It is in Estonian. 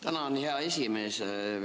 Tänan, hea esimees!